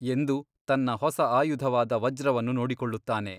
ಎಂದು ತನ್ನ ಹೊಸ ಆಯುಧವಾದ ವಜ್ರವನ್ನು ನೋಡಿಕೊಳ್ಳುತ್ತಾನೆ.